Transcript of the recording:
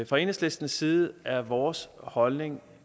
fra enhedslistens side er vores holdning